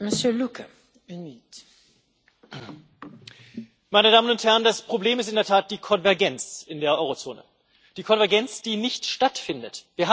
Frau Präsidentin, meine Damen und Herren! Das Problem ist in der Tat die Konvergenz in der Eurozone die Konvergenz, die nicht stattfindet.